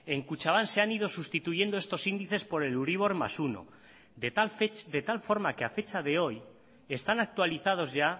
en kutxabank se han ido sustituyendo estos índices por el euribor más uno de tal forma que a fecha de hoy están actualizados ya